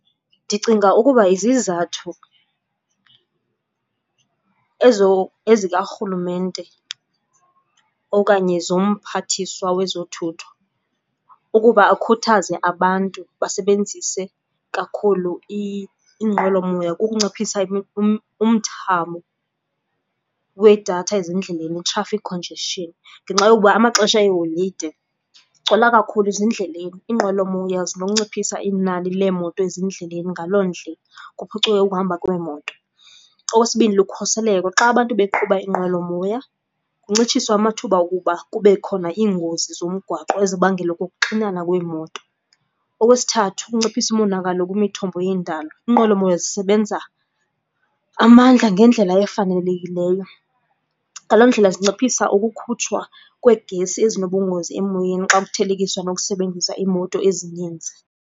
Ndicinga ukuba izizathu ezo ezikarhulumente okanye zomphathiswa wezothutho ukuba akhuthaze abantu basebenzise kakhulu iinqwelomoya kukunciphisa umthamo wedatha ezindleleni, i-traffic congestion. Ngenxa yokuba amaxesha eeholide kugcwala kakhulu ezindleleni. Iinqwelomoya zinokunciphisa inani leemoto ezindleleni ngaloo ndlela kuphucuke ukuhamba kweemoto. Okwesibini, lukhuseleko, xa abantu beqhuba iinqwelomoya kuncitshiswa amathuba okuba kube khona iingozi zomgwaqo ezibangelwa kukuxinana kweemoto. Okwesithathu, ukunciphisa umonakalo kwimithombo yendalo. Iinqwelomoya zisebenza amandla ngendlela efanelekileyo. Ngaloo ndlela zinciphisa ukukhutshwa kweegesi ezinobungozi emoyeni xa kuthelekiswa nokusebenzisa iimoto ezininzi.